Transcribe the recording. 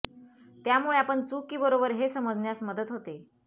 त्यामुळे आपण चूक की बरोबर हे समजण्यास मदत होते